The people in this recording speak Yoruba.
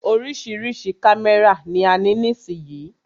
Oríṣiríṣi kámẹ́rà ni a ní nísìyí.